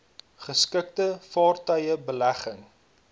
geskikte vaartuie belegging